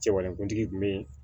Cɛbalenkuntigi kun be yen